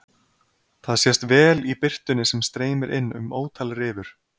Það sést vel í birtunni sem streymir inn um ótal rifur.